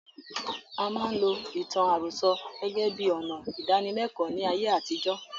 A máa ń lo ìtàn àròsọ gẹ́gẹ́ bíi ọnà ìdánilékòó ní ayé àtijó.